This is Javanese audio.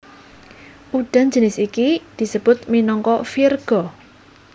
Udan jinis iki disebut minangka virga